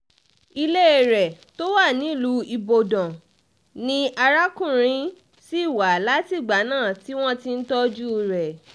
ilé rẹ̀ tó wà nílùú ibodàn ni arákùnrin ṣì wà látìgbà náà tí wọ́n ti ń tọ́jú rẹ̀